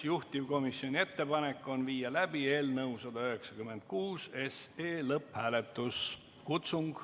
Juhtivkomisjoni ettepanek on viia läbi eelnõu 196 lõpphääletus.